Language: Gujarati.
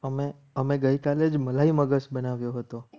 અમે અમે ગઈકાલે જ મલાઈ મગજ બનાવ્યો હતો.